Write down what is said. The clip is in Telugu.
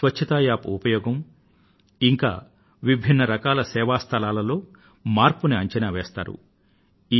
తే క్లీన్లినెస్ App ఉపయోగం ఇంకా విభిన్న రకాల సేవా స్థలాలలో మార్పును అంచనా వేస్తారు